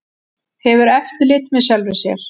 Hefur eftirlit með sjálfri sér